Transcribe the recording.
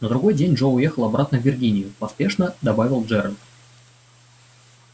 на другой день джо уехал обратно в виргинию поспешно добавил джералд